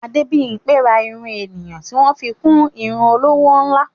Adébímpé ra irun ènìyàn tí wọ́n fi ń kún irun olówó ńlá.